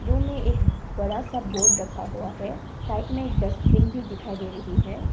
Room मे एक बड़ा सा बोर्ड रखा हुआ है साइड में डस्टबिन भी दिखाई दे रही है।